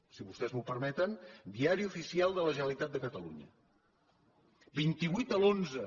si vos·tès m’ho permeten diari oficial de la generalitatcatalunya vint vuit de l’xi